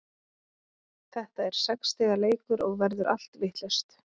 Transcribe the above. Þetta er sex stiga leikur og verður allt vitlaust.